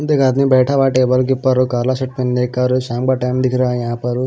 आदमी बैठा हुआ है टेबल के ऊपर और काला शर्ट पहनने का और शाम का टाइम दिख रहा है यहां पर।